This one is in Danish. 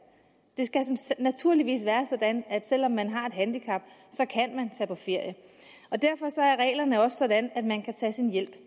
det skal naturligvis være sådan at selv om man har et handicap kan man tage på ferie og derfor er reglerne også sådan at man kan tage sin hjælp